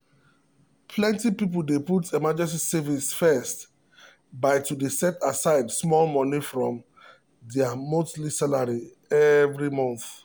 plenty people dey put emergency savings first by to dey set aside small money from their monthly salary every month.